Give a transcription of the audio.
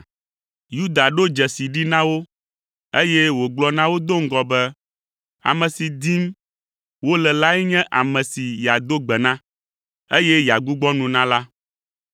Yuda ɖo dzesi ɖi na wo eye wògblɔ na wo do ŋgɔ be ame si dim wole lae nye ame si yeado gbe na, eye yeagbugbɔ nu na la.